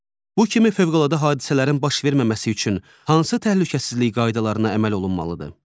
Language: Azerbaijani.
Bu kimi fövqəladə hadisələrin baş verməməsi üçün hansı təhlükəsizlik qaydalarına əməl olunmalıdır?